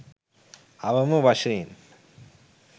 අවම වශයෙන්